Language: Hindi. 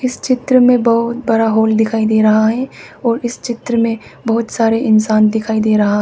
चित्र में बहुत बड़ा हॉल दिखाई दे रहा है और इस चित्र में बहुत सारे इंसान दिखाई दे रहा है।